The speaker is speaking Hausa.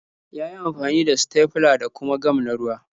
Ya yi amfani da sitefila da kuma gam na ruwa.